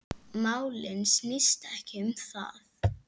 Málið snýst ekki um það.